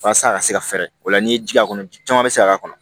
Walasa a ka se ka fɛɛrɛ o la n'i ye ji k'a kɔnɔ ji caman bɛ se ka k'a kɔnɔ